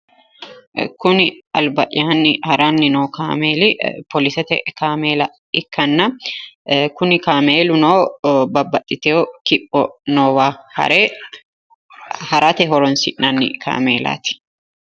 Kuni albayyanni haranni no kaameeli poolisete kaameela ikkanna kuni kaameeluno babbaxxitewo kipho noowa harate horonsi'nanni kaameelaati.